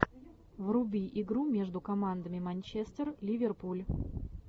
вруби игру между командами манчестер ливерпуль